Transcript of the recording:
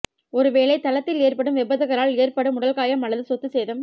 ஒரு வேலை தளத்தில் ஏற்படும் விபத்துகளால் ஏற்படும் உடல் காயம் அல்லது சொத்து சேதம்